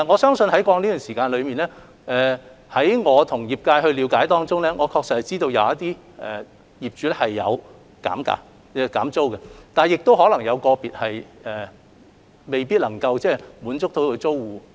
在過去一段時間向業界所作的了解中，我知道確有業主曾經減租，但亦有個別業主可能未必能在這方面滿足租戶的要求。